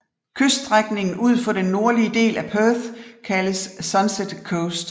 Kyststrækningen ud for den nordlige del af Perth kaldes Sunset Coast